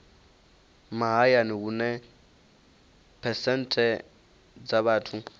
mahayani hune phesenthe dza vhathu